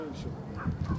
Bu, hara gedəcək?